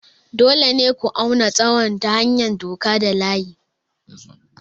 Dole ne ku auna tsawon ta hanyar doka da layi.